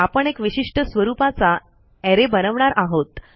आपण एक विशिष्ट स्वरूपाचा अरे बनवणार आहोत